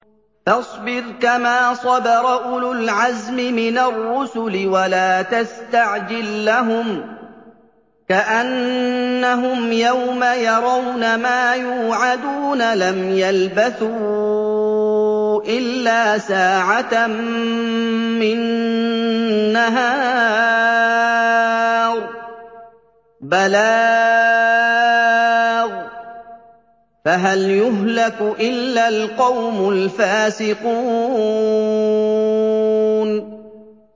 فَاصْبِرْ كَمَا صَبَرَ أُولُو الْعَزْمِ مِنَ الرُّسُلِ وَلَا تَسْتَعْجِل لَّهُمْ ۚ كَأَنَّهُمْ يَوْمَ يَرَوْنَ مَا يُوعَدُونَ لَمْ يَلْبَثُوا إِلَّا سَاعَةً مِّن نَّهَارٍ ۚ بَلَاغٌ ۚ فَهَلْ يُهْلَكُ إِلَّا الْقَوْمُ الْفَاسِقُونَ